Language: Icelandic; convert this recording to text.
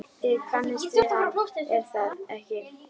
Þið kannist við hann, er það ekki?